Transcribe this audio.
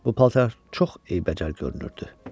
Bu paltar çox eybəcər görünürdü.